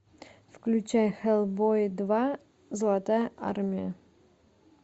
включай хеллбой два золотая армия